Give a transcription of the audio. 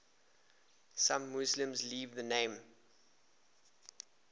some muslims leave the name